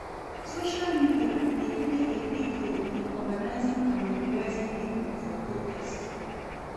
Social media dey play a big role in organizing and mobilizing people for protest.